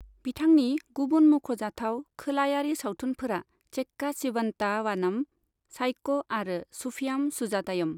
बिथांनि गुबुन मुंख'जाथाव खोलायारि सावथुनफोरा चेक्का चिवन्ता वानम, साइक' आरो सूफीयाम सुजातायुम।